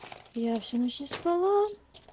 я всю ночь не спала